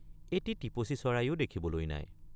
এটি টিপচী চৰায়ো দেখিবলৈ নাই।